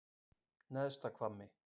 Neðsta Hvammi